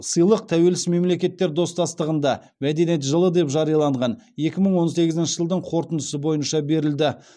сыйлық тәуелсіз мемлекеттер достастығында мәдениет жылы деп жарияланған екі мың он сегізінші жылдың қорытындысы бойынша берілді